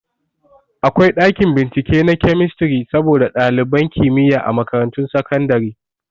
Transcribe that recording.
Akwai ɗakin bincike na kemistri saboda ɗaliban kimiyya a makarantun sakandare